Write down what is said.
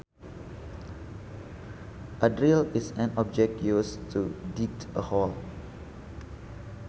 A drill is an object used to dig a hole